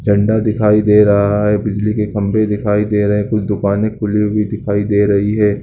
झंडा दिखाई दे रहा है बिजली के खम्बे दिखाई दे रहें हैं। कुछ दुकाने खुली हुई दिखाई दे रही है।